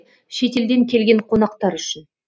шетелден келген қонақтар үшін